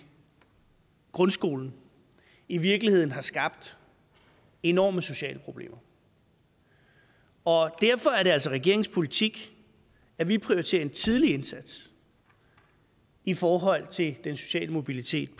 grundskolen i virkeligheden har skabt enorme sociale problemer og derfor er det altså regeringens politik at vi prioriterer en tidlig indsats i forhold til den sociale mobilitet